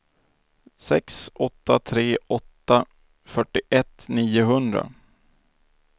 sex åtta tre åtta fyrtioett niohundra